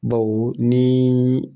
Baw ni